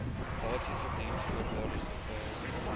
basiese diensvoorwaardes bepaal